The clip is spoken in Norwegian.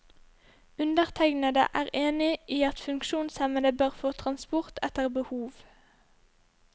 Undertegnede er enig i at funksjonshemmede bør få transport etter behov.